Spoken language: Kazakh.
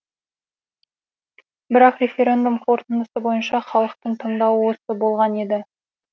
бірақ референдум қорытындысы бойынша халықтың таңдауы осы болған еді